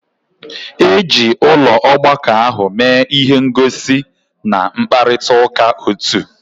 Eji ụlọ ọgbakọ ahụ mee ihe ngosi na mkparịta ụka otu.